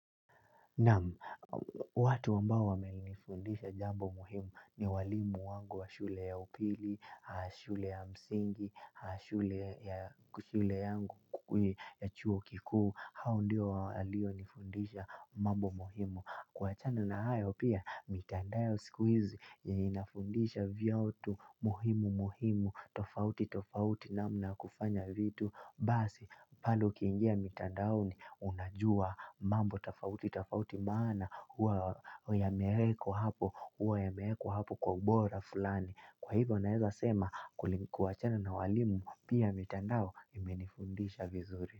Naam watu ambao wamenifundisha jambo muhimu ni walimu wangu wa shule ya upili, shule ya msingi, shule ya shule yangu ya chuo kikuu, hao ndiyo walionifundisha mambo muhimu. Kuwachana na ayo pia mitandao siku izi ya inafundisha vyautu muhimu muhimu tofauti tofauti na mnakofanya vitu Basi palo ukiingia mitandao ni unajua mambo tofauti tofauti maana huwa ya meheko hapo huwa ya meheko hapo kwa ubora fulani Kwa hivyo naeza sema kuwachana na walimu pia mitandao imenifundisha vizuri.